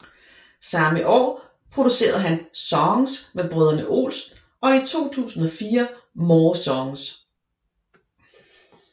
Samme år producerede han Songs med Brødrene Olsen og i 2004 More Songs